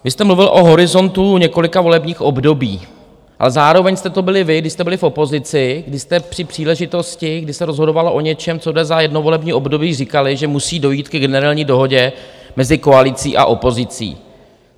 Vy jste mluvil o horizontu několika volebních období, ale zároveň jste to byli vy, když jste byli v opozici, když jste při příležitosti, kdy se rozhodovalo o něčem, co jde za jedno volební období, říkali, že musí dojít ke generální dohodě mezi koalicí a opozicí.